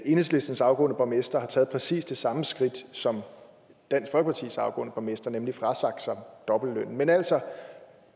enhedslistens afgående borgmester har taget præcis det samme skridt som dansk folkepartis afgående borgmester nemlig frasagt sig dobbeltlønnen men altså